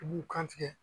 I b'u kan tigɛ